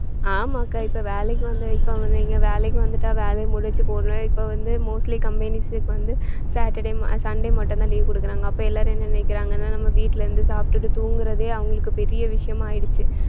ஆமாக்கா இப்ப வேலைக்கு வந்து இப்ப வந்தீங்க வேலைக்கு வந்துட்டா வேலையை முடிச்சு போடுவேன் இப்ப வந்து mostly company's க்கு வந்து saturday, sunday மட்டும்தான் leave கொடுக்குறாங்க அப்ப எல்லாரும் என்ன நினைக்கிறாங்க நம்ம வீட்ல இருந்து சாப்பிட்டுட்டு தூங்குறதே அவங்களுக்கு பெரிய விஷயமா ஆயிடுச்சு